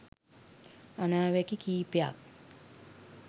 අනාවැකි කිහිපයක්